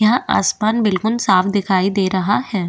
यहाँ आसमान बिल्कुल साफ़ दिखाई दे रहा है।